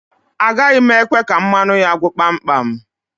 Agaghi m ekwe ka mmanụ ya gwụ kpam kpam.